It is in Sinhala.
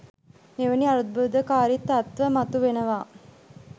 මෙවැනි අර්බුදකාරී තත්ත්ව මතු වෙනවා.